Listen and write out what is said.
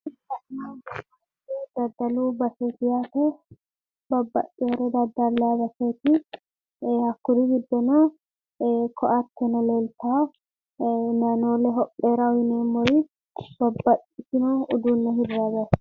Daddalu baseeti yaate. Babbaxxitewore daddalayi baseeti. hakkuri giddono ee ko'atteno leeltawo layinoole hopheeraho yineemmori babbaxxewo uduunne hirranniwaati.